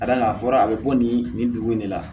Ka d'a kan a fɔra a bɛ bɔ nin nin dugu in de la